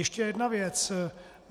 Ještě jedna věc.